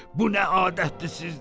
Bu nə adətdir sizdə?